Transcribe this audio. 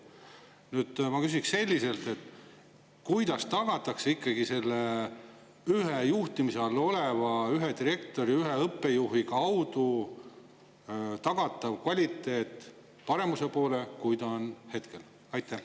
Nüüd ma küsin selliselt: kuidas tagatakse ikkagi selle ühe juhtimise all oleva ühe direktori, ühe õppejuhi kaudu parem kvaliteet, kui on hetkel?